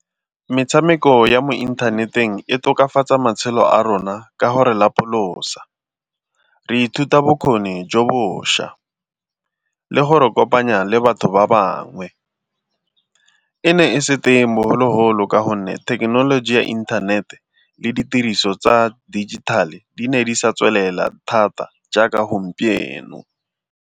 Metshameko ya mo inthaneteng e tokafatsa matshelo a rona ka gore lapolosa. Re ithuta bokgoni jo bošwa le gore kopanya le batho ba bangwe. E ne e se teng bogologolo ka gonne thekenoloji ya inthanete le ditiriso tsa dijithale di ne di sa tswelela thata jaaka gompieno.